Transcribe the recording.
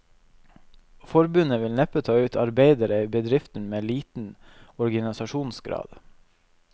Forbundet vil neppe ta ut arbeidere i bedrifter med liten organisasjonsgrad.